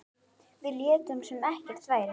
Við létum sem ekkert væri.